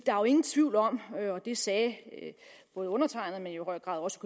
er jo ingen tvivl om det sagde undertegnede men i høj grad også